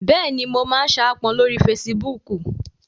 Bẹ́ẹ̀ni, mo n saápọn lórí fesibúùkù